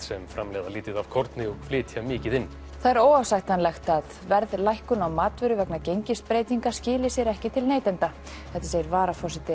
sem framleiðir lítið af korni og flytur mikið inn það er óásættanlegt að verðlækkun á matvöru vegna gengisbreytinga skili sér ekki til neytenda þetta segir varaforseti